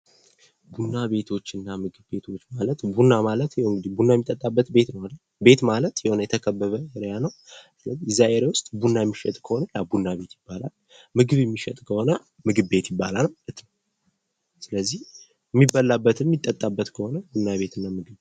ቡና ቤቶችና ምግብ ቤቶች ቡና ማለት ቡና የሚጠጣበት ቤት ማለት ነው ቡና የሚሸጥ ከሆነ ቡና ቤት ይባላል ምግብ የሚሸጥ ከሆነ ምግብ ቤት ይባላል።